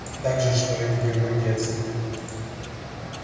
та же что и в его детстве